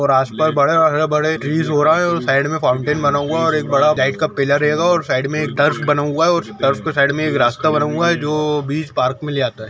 और आसापास बड़े बड़े ट्रीज हो रहा है और साइड में फाउंटेन बना हुआ है और एक बड़ा लाइट का पिलर हेगा और साइड में बना हुआ है और के साइड में एक रास्ता बना हुआ है जो बीच पार्क में ले आता हैं।